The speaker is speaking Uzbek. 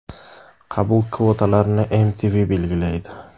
Qabul kvotalarini MTV belgilaydi.